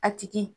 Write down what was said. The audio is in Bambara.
A tigi